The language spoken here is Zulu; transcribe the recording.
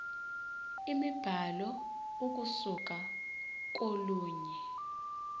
imibhalo ukusuka kolunye